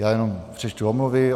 Já jenom přečtu omluvy.